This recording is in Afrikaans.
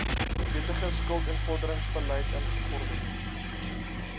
wettige skuldinvorderingsbeleid ingevorder